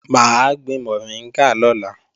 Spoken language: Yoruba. Mà á gbin mọ̀ríngà lọ́la